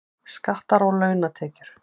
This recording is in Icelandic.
Skattar á launatekjur